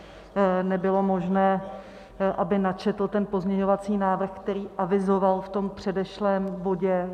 Nebylo možné, aby načetl ten pozměňovací návrh, který avizoval v tom předešlém bodě.